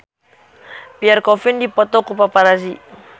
Pierre Coffin dipoto ku paparazi